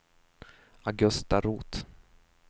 Augusta Roth